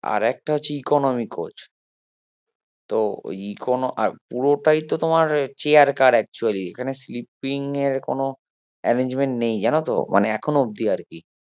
আর একটা হচ্ছে economy coach তো ওই আর পুরোটাই তো তোমার chair car actually এখানে sleeping এর কোনো arrangement জানো তো মানে এখনো অবদি আর কি